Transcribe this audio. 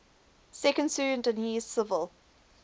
second sudanese civil